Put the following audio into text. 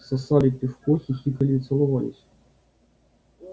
сосали пивко хихикали и целовались